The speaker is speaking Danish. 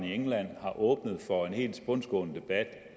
i england har åbnet for en helt tilbundsgående debat